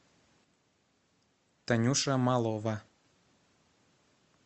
танюша малова